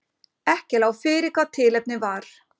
Ekki lá fyrir hvað tilefnið var